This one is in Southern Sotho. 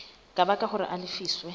ka baka hore a lefiswe